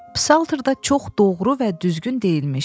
Psalterdə çox doğru və düzgün deyilmişdi.